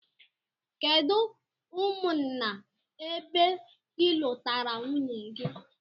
Kedu umụnna ebe ilụtara nwunye gi?